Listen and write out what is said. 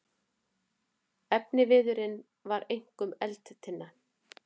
Efniviðurinn var einkum eldtinna.